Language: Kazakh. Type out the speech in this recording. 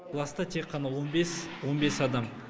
класста тек қана он бес он бес адам